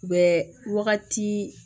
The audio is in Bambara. U bɛ wagati